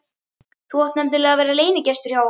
Þú átt nefnilega að vera leynigestur hjá okkur!